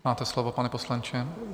Máte slovo, pane poslanče.